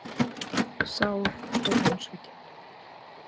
Sár og vonsvikin.